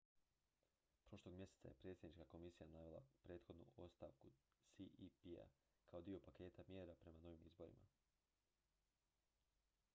prošlog mjeseca je predsjednička komisija navela prethodnu ostavku cep-a kao dio paketa mjera prema novim izborima